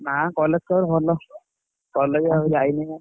ନା college ଖବର ଭଲ college ଆଉ ଯାଇନାହି ବା।